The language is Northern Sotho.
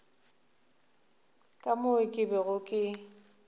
ka moo ke bego ke